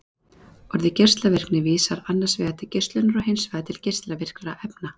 orðið geislavirkni vísar annars vegar til geislunar og hins vegar til geislavirkra efna